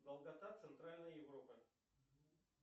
долгота центральной европы